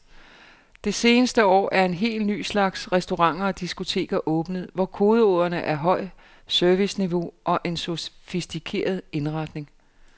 Det seneste år er en helt ny slags restauranter og diskoteker åbnet, hvor kodeordene er højt serviceniveau og en sofistikeret indretning.